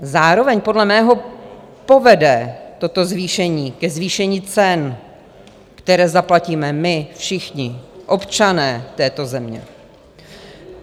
Zároveň podle mého povede toto zvýšení ke zvýšení cen, které zaplatíme my všichni, občané této země.